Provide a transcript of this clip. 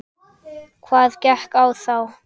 Hvað gekk á þá?